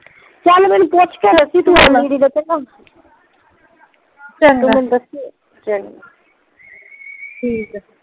ਚੱਲ ਮੈਂਨੂੰ ਪੁੱਛ ਕੇ ਦੱਸੀ ਚੰਗਾ ਠੀਕ